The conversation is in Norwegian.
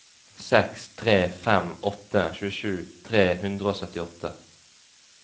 seks tre fem åtte tjuesju tre hundre og syttiåtte